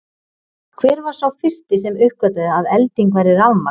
Hver var sá fyrsti sem uppgötvaði að elding væri rafmagn?